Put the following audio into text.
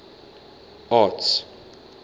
arts